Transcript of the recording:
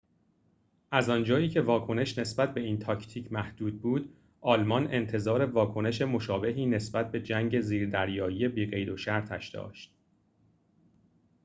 از آنجایی که واکنش نسبت به این تاکتیک محدود بود آلمان انتظار واکنش مشابهی نسبت به جنگ زیردریایی بی‌قیدوشرطش داشت